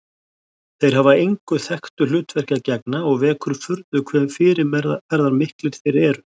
Þeir hafa engu þekktu hlutverki að gegna og vekur furðu hve fyrirferðarmiklir þeir eru.